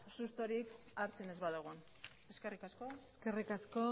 sustorik hartzen ez badugun eskerrik asko eskerrik asko